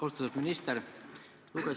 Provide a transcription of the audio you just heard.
Austatud minister!